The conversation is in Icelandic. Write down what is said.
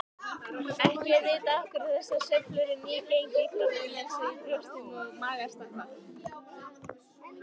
Ekki er vitað af hverju þessar sveiflur í nýgengi krabbameins í brjóstum og maga stafa.